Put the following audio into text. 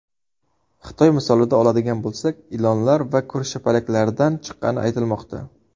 Xitoy misolida oladigan bo‘lsak, ilonlar va ko‘rshapalaklardan chiqqani aytilmoqda.